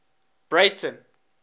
breyten